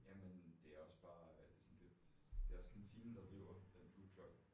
Jamen det også bare det sådan det også kantinen der driver den foodtruck